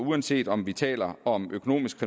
uanset om vi taler om økonomisk